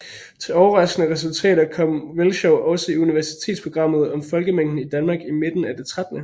Til overraskende resultater kom Velschow også i universitetsprogrammet Om Folkemængden i Danmark i Midten af det 13